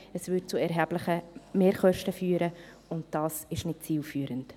Das führte zu erheblichen Mehrkosten, und das ist nicht zielführend.